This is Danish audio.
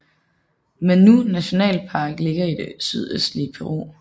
Manú nationalpark ligger i det sydøstlige Peru